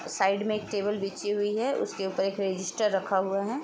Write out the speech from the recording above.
Side में एक table बिछी हुई है उसके ऊपर एक रजिस्टर रखा हुआ है।